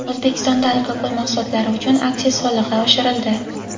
O‘zbekistonda alkogol mahsulotlari uchun aksiz solig‘i oshirildi.